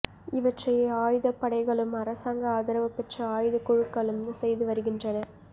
இவற்றை ஆயுதப்படைகளும் அரசாங்க ஆதரவு பெற்ற ஆயுதக் குழுக்களும் செய்து வருகின்றன